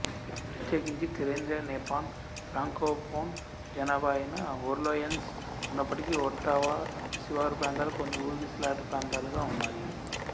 ప్రత్యేకించి కేంద్రీయ Nepean francophone జనాభా అయిన ఓర్లెయన్స్ ఉన్నప్పటికీ ఒట్టావా శివారు ప్రాంతాలు కొన్ని ఊగిసలాట ప్రాంతాలుగా ఉన్నాయి